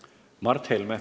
Mart Helme.